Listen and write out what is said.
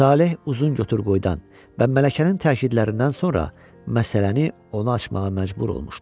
Saleh uzun götür-qoydan və mələkənin təkidlərindən sonra məsələni ona açmağa məcbur olmuşdu.